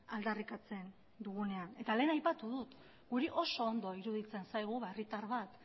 aldarrikatzen dugunean eta lehen aipatu dut guri oso ondo iruditzen zaigu herritar bat